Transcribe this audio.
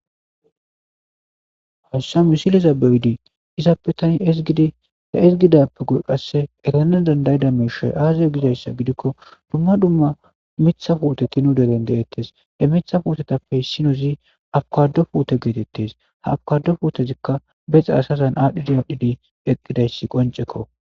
hassami siliza bewidi izaappetani ezgidida esgidappe gul qasse erana dandayida meshay aazayo gidayssa gidikko dumma dumma mitha footeti nu deren deettes e mitha footetappey sinozi abkado puote geetettes ha abkado fuotezikka bexe asazan aadhdhidi aadhdhidi eqqidayssi qoncekko